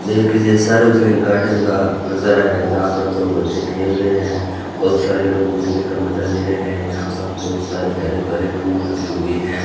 ये किसी सार्वजनिक गार्डन का नजारा है जहां पर दो बच्चे खेल रहे हैं बहुत सारे लोग घूमने का मजा ले रहे हैं यहां पर बहुत सारे हरे भरे फूल लगे हुए हैं।